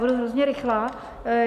Budu hrozně rychlá.